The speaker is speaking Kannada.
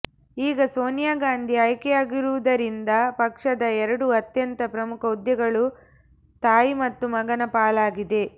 ಈಗ ಸೋನಿಯಾ ಗಾಂಧಿ ಆಯ್ಕೆಯಾಗಿರುವುದರಿಂದ ಪಕ್ಷದ ಎರಡು ಅತ್ಯಂತ ಪ್ರಮುಖ ಹುದ್ದೆಗಳು ತಾಯಿ ಮತ್ತು ಮಗನ ಪಾಲಾಗಿದೆ